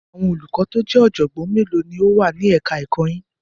Àwọn olùkọ́ tó jẹ́ ọ̀jọ̀gbọ́n mélòó ló wà ní ẹ̀ka ẹ̀kọ́ yín?